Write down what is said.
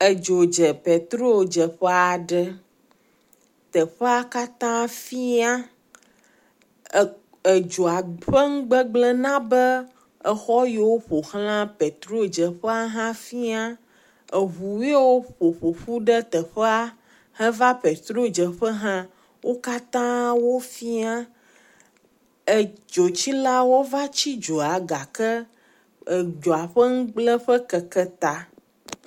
Edzo dze petrodzeƒe aɖe. Teƒea katã fiã. E..edzoa ƒe nugbegblẽ na be exɔ yiwo ƒoxla petrodzeƒea hã fiã. Eŋu yiwo ƒoƒoƒu ɖe teƒea heva petrodzeƒea wo katã wo fia. Edzotsilawo va tsi dzo la gake, edzoa ƒe nugblẽƒe keke ta.